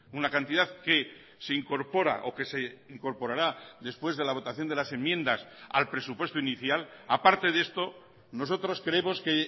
una cantidad que se incorpora o que se incorporará después de la votación de las enmiendas al presupuesto inicial aparte de esto nosotros creemos que